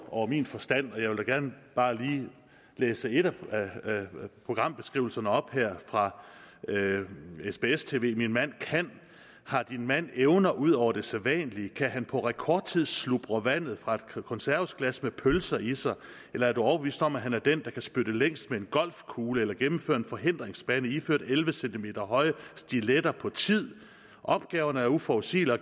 over min forstand og jeg vil da gerne bare lige læse en af programbeskrivelserne op her fra sbs tv det min mand kan har din mand evner ud over det sædvanlige kan han på rekordtid slubre vandet fra et konservesglas med pølser i sig eller er du overbevist om at han er den der kan spytte længst med en golfkugle eller gennemføre en forhindringsbane iført elleve cm høje stiletter på tid opgaverne er uforudsigelige og